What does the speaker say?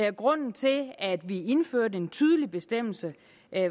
og grunden til at vi indførte en tydelig bestemmelse